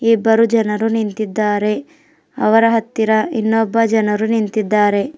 ಇಬ್ಬರು ಜನರು ನಿಂತಿದ್ದಾರೆ ಅವರ ಹತ್ತಿರ ಇನ್ನೊಬ್ಬ ಜನರು ನಿಂತಿದ್ದಾರೆ.